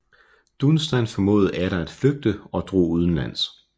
Dunstan formåede atter at flygte og drog udenlands